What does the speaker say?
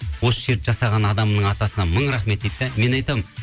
осы жерді жасаған адамның атасына мың рахмет дейді де мен айтамын